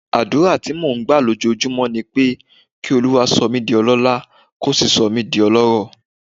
Àdúrà tí mò ń gbà lójoojúmọ́ ni pé kí Olúwa sọ mí di ọlọ́lá, kó sì sọ mí di ọlọ́rọ̀.